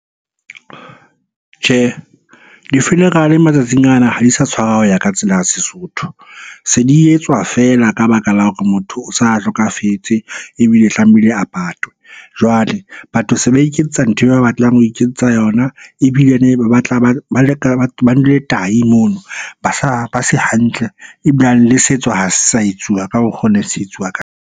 Tjhe, di-funeral-e matsatsing ana ha di sa tshwara ho ya ka tsela ya Sesotho. Se di etswa fela ka baka la hore motho o sa hlokafetse ebile tlamehile a patwe. Jwale batho se ba iketsetsa ntho e ba batlang ho iketsetsa yona, ebilene ba nwele tahi mono. Ba sa, ba se hantle ebilane le setso ha se sa etsuwa ka mokgo ne se etsuwa .